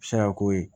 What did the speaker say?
Sira ko ye